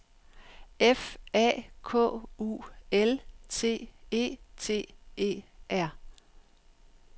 F A K U L T E T E R